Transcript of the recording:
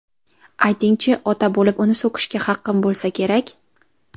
Ayting-chi, ota bo‘lib uni so‘kishga haqqim bo‘lsa kerak?